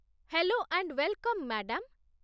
hello and welcome, madam